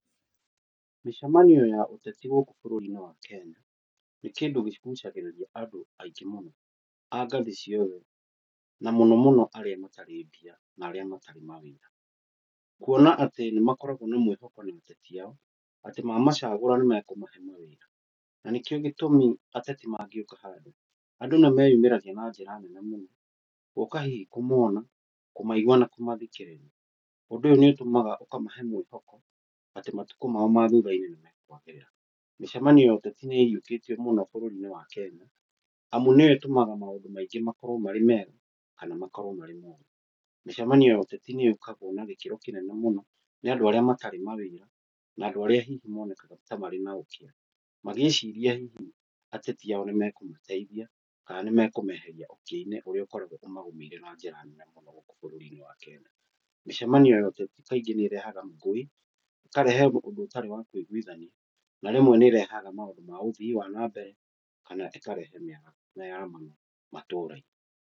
Mĩcemanio ya ũteti gũkũ bũrũri-inĩ wa Kenya, nĩ kĩndũ kĩgũcagĩrĩria andũ aingĩ mũno, angathĩ ciothe na mũno mũno arĩa matarĩ mbia na arĩa matarĩ mawĩra, kuona atĩ nĩmakoragwo na mwĩhoko na atetĩ ao mamacagũra nĩmekũmahe mawĩra, na nĩkĩo gĩtũmi atetimangĩhetũka handũandũ nĩmeyumĩragia na njĩra nene mũno, gũka hihi kũmona, kũmaigua na kũmathikĩrĩria, ũndũ ũyũ nĩ ũtũmaga ũkamahe mwĩhoko atĩ matukũ mao ma thutha-inĩ nĩmekwagĩrĩra. Mĩcemanio ya ateti nĩ ĩhiũkĩtio mũno bũrũri-inĩ wa Kenya, amu nĩ yo ĩtũmaga maũndũ maĩngĩ makorwo marĩ mega kana makorwo marĩ moru. Mĩcemanio ya ũteti nĩ ĩkagwo na gĩkĩro kĩnene mũno nĩ andũ arĩa matarĩ mawĩra na andũ arĩa hihi monekaga ta marĩ na ũkĩa, magĩciria hihi ateti ao nĩmekũmateithia kana nĩmekũmeharia ũkĩa-inĩ ũrĩa ũkoragwo ũmagũmĩira na njĩra nene mũno gũkũ bũrũri-inĩ wa Kenya, mĩcemanio ya ũteti kaingĩ nĩ ĩrehaga ngũĩ kana ikarehe ũndũ ũtarĩ kũiguithania, na rĩmwe nĩĩrehaga maũndũ ma ũthii wa nambere, kana ikarehe mĩaramano matura-inĩ.